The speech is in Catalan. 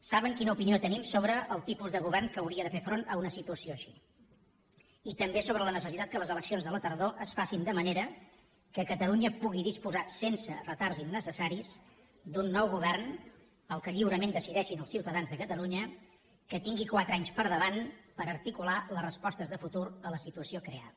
saben quina opinió tenim sobre el tipus de govern que hauria de fer front a una situació així i també sobre la necessitat que les eleccions de la tardor es facin de manera que catalunya pugui disposar sense retards innecessaris d’un nou govern el que lliurement decideixin els ciutadans de catalunya que tingui quatre anys per davant per articular les respostes de futur a la situació creada